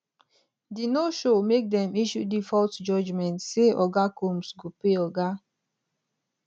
di noshow make dem issue default judgement say oga combs go pay oga